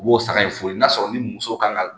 U b'o saga in fu ye n'a sɔrɔ ni muso ka kan ka